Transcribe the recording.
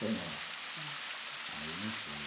ãh, aí não fui.